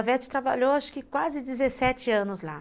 A Vete trabalhou acho que quase dezessete anos lá.